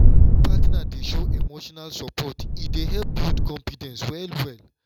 wen partner dey show emotional support e dey help build confidence well well.